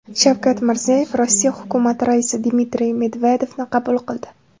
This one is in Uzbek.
Shavkat Mirziyoyev Rossiya hukumati raisi Dmitriy Medvedevni qabul qildi.